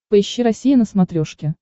поищи россия на смотрешке